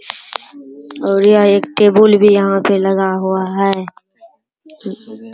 और यह एक टेबल भी यहाँ पे लगा हुआ है |